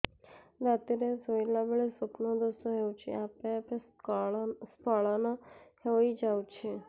ରାତିରେ ଶୋଇଲା ବେଳେ ସ୍ବପ୍ନ ଦୋଷ ହେଉଛି ଆପେ ଆପେ ସ୍ଖଳନ ହେଇଯାଉଛି